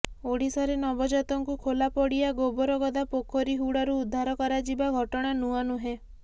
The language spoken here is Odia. ଓଡ଼ିଶାରେ ନବଜାତଙ୍କୁ ଖୋଲା ପଡ଼ିଆ ଗୋବର ଗଦା ପୋଖରି ହୁଡ଼ାରୁ ଉଦ୍ଧାର କରାଯିବା ଘଟଣା ନୂଆ ନୁହେଁ